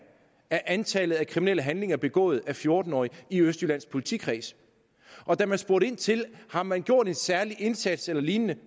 af antallet af kriminelle handlinger begået af fjorten årige i østjyllands politikreds da man spurgte ind til om man gjort en særlig indsats eller lignende